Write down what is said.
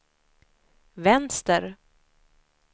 vänster